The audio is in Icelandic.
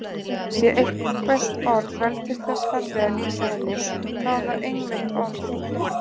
Sé eitthvert orð vel til þess fallið að lýsa henni þá er það einmitt orðið.